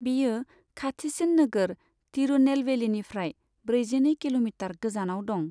बेयो खाथिसिन नोगोर तिरुनेलवेलीनिफ्राय ब्रैजिनै किल'मिटार गोजानाव दं।